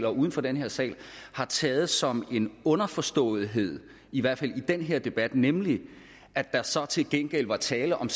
og uden for den her sal har taget som en underforståethed i hvert fald i den her debat nemlig at der så til gengæld var tale om